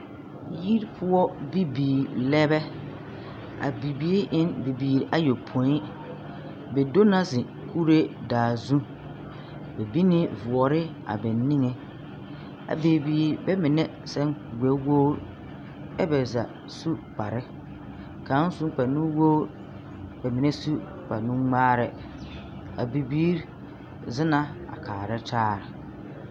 Yiri poɔ bibiiri lɛ bɛ. A bibiiri en bibiiri ayopõi. Bɛ do na zeŋ kure daa zũ. bɛ bini boɔre a bɛ niŋe a bibiiri bɛmine sɛn kurigbɛwogri ɛ bɛ za su kpare. Kaŋ sun kpare nu wogri, bɛmine su kparenuŋmaarɛ. A bibiiri zena a kaarɛ tare.